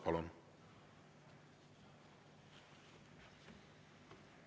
Palun!